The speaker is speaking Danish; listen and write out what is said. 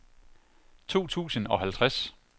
to tusind og halvtreds